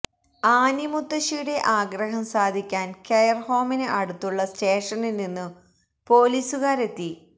Annie മുത്തശ്ശിയുടെ ആഗ്രഹം സാധിക്കാൻ കെയർ ഹോമിന് അടുത്തുള്ള സ്റ്റേഷനിൽ നിന്നു പൊലീസുകാരെത്തി